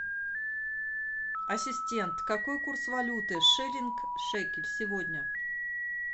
ассистент какой курс валюты шиллинг шекель сегодня